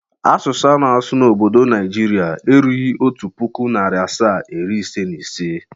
Asụsụ a na-asụ n'obdo Naijiria erughi otu pụkụ, narị asaa, iri ise na ise.